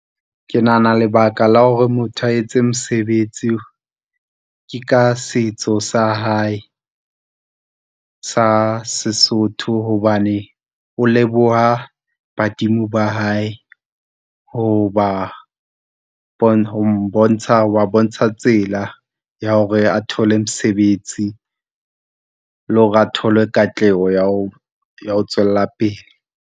Ke nahana lebaka la hore motho a etse mosebetsi, ke ka setso sa hae sa Sesotho, hobane o leboha badimo ba hae ho ba , ho ba bontsha tsela ya hore a thole mosebetsi, le hore a thole katleho ya ho, ya ho tswella pele.